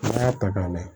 N'an y'a ta k'a lajɛ